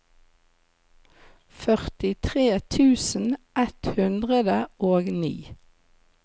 førtitre tusen ett hundre og ni